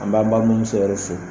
An b'an balimuso yɛrɛ fɔ